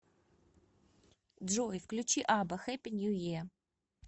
джой включи абба хэппи нью е